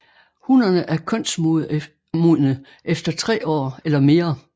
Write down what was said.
Hunnerne er kønsmodne efter tre år eller mere